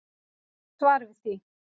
Svar við því.